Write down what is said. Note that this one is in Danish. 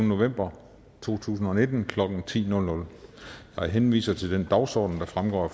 november to tusind og nitten klokken ti jeg henviser til den dagsorden der fremgår af